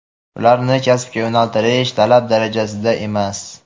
ularni kasbga yo‘naltirish talab darajasida emas.